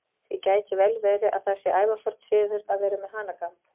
Því gæti vel verið að það sé ævaforn siður að vera með hanakamb.